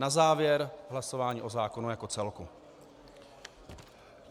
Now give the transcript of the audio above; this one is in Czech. Na závěr hlasování o zákonu jako celku.